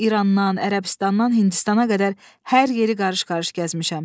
Mən İrandan, Ərəbistandan Hindistana qədər hər yeri qarış-qarış gəzmişəm.